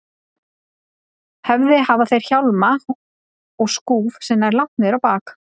höfði hafa þeir hjálma og skúf sem nær langt niður á bak.